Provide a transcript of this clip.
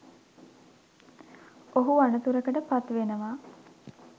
ඔහු අනතුරකට පත් වෙනවා.